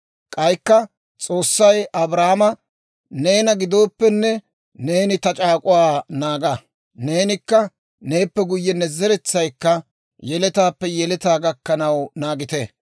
K'aykka S'oossay Abrahaama, «Neena gidooppe, neeni ta c'aak'uwaa naaga; neenikka neeppe guyye ne zeretsaykka, yeletaappe yeletaa gakkanaw naagite.